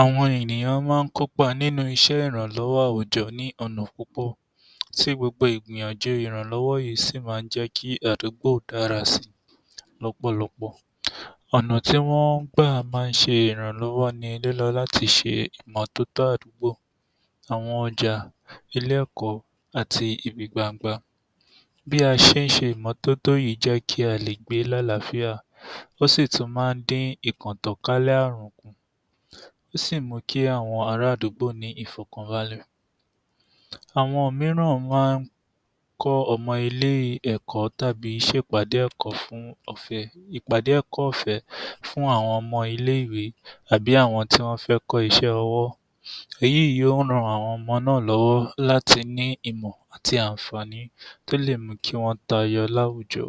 Àwọn ènìyàn máa ń kópa nínú iṣẹ́ ìrànlọ́wọ́ àwùjọ ní ọ̀nà púpọ̀ tí gbogbo ìgbìyànjú ìràǹlọ́wọ́ yìí sì máa ń jẹ́ kí àdúgbò dára si lọ́pọ̀lọpọ̀. ọ̀nà tí wọ́n máa ń gbà ṣe ìrànlọ́wọ́ ni lílọ láti ṣe ìmọ́tótó àdúgbò, àwọn ọjà, ilé-ẹ̀kọ́ àti ibi gbangba. Bí a ṣe ń ṣe ìmọ́tótó yìí jẹ́ kí a lè gbé lálàáfíà ó sì tún máa ń dí ìtànkálẹ̀ ààrùn, ó sì mú kí àwọn ara àdúgbò ní ìfọ̀kànbalẹ̀. Àwọn mìíràn máa ń kọ́ ọmọ ilé-ẹ̀kọ́ tàbí ṣe ìpàdé ẹ̀kọ́ fún um ìpàdé ẹ̀kọ́ ọ̀fẹ́ fún àwọn ọmọ ilé-ìwé àbí àwọn tí wọ́n fẹ́ kọ́ iṣẹ́ ọwọ́, èyí yóò ran àwọn ọmọ náà lọ́wọ́ láti ní ìmọ̀ àti àǹfàní tó lè mú kí wọ́n tayọ láwùjọ